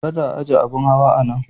Kada a aje abin hawa a nan.